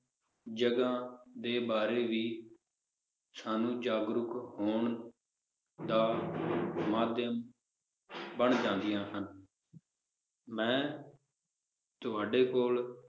ਜਗਾਹ ਦੇ ਬਾਰੇ ਵੀ ਸਾਨੂੰ ਜਾਗਰੂਕ ਹੋਣ ਦਾ ਮਾਧਿਅਮ ਬਣ ਜਾਂਦੀਆਂ ਹਨ ਮੈ ਤੁਹਾਡੇ ਕੋਲ